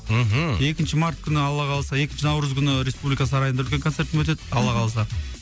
мхм екінші март күні алла қаласа екінші наурыз күні республика сарайында үлкен концертім өтеді алла қаласа